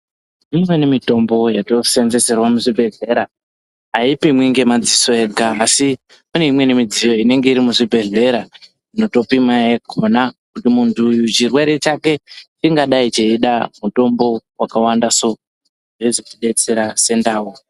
Imweni mitombo yatoseenzeserwa muzvibhedhlera haipimwi ngemadziso ega, asi pane imweni midziyo inenge iri muzvibhedhlera inotopima yakona kuti muntu uyu chirwere chake ingadai cheide mutombo wakawanda soo, zveizoti detsera sendau.